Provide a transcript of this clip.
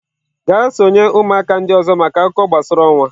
Gaa sonye ụmụaka ndị ọzọ maka akụkọ gbasara ọnwa!.